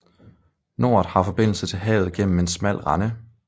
Noret har forbindelse til havet gennem en smal rende